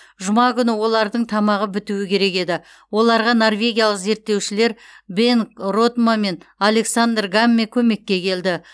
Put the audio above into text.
жұма күні олардың тамағы бітуі керек еді оларға норвегиялық зерттеушілер бенгт ротмо мен александр гамме көмекке келді